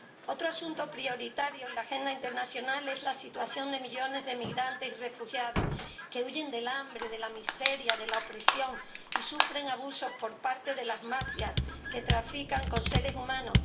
Otro asunto prioritario en la agenda internacional es la situación de millones de migrantes y refugiados que huyen del hambre, de la miseria, de la opresión y que sufren abusos por parte de las mafias que trafican con seres humanos.